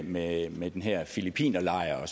med med den her filippinerlejr